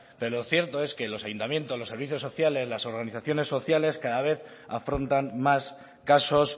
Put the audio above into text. pero cierto es que los ayuntamientos los servicios sociales las organizaciones sociales cada vez afrontan más casos